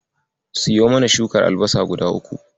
Siyo mana shukar albasa guda uku.